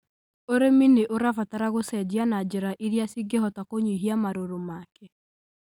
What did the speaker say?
ũrĩmi nĩ ũrabatara gũcenjia na njĩra irĩa cingĩhota kũnyihia marũrũ make.